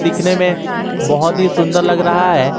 दिखने में बहुत ही सुंदर लग रहा है।